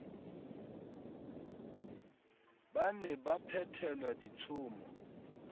ba ne ba phethelwa ditshomo